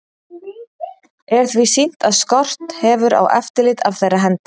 Er því sýnt, að skort hefur á eftirlit af þeirra hendi.